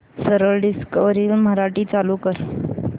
सरळ डिस्कवरी मराठी चालू कर